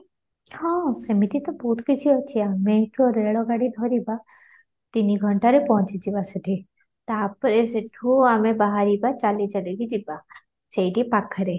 ହଁ ସେମିତି ତ ବହୁତ କିଛି ଅଛି ଆମେ ତ ରେଳ ଗାଡି ଧରିବା ତିନି ଘଣ୍ଟାରେ ପହଞ୍ଚି ଯିବା ସେଠି ତା'ପରେ ସେଠୁ ଆମେ ବାହାରିବା ଚାଲି ଚାଲି କି ଯିବା ସେଇଠି ପାଖରେ